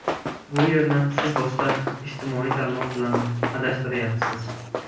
Bu yerni siz boshqa ijtimoiy tarmoq bilan adashtiryapsiz.